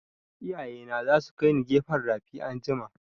Iyaye na za su kaini gefen rafi anjima